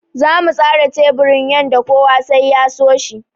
Zamu tsara teburin yanda kowa sai ya so shi.